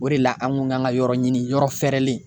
O de la an kun kan ka yɔrɔ ɲini yɔrɔ fɛɛrɛlen